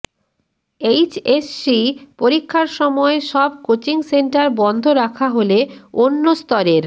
HSC পরীক্ষার সময় সব কোচিং সেন্টার বন্ধ রাখা হলে অন্য স্তরের